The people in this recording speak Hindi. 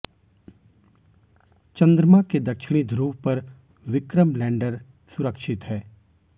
चंद्रमा के दक्षिणी ध्रुव पर विक्रम लैंडर सुरक्षित है